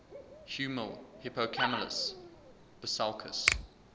huemul hippocamelus bisulcus